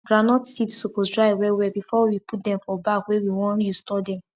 small boys dey learn how to scrape and sof ten skin by to dey help elder people wey sabi leather work for weekend.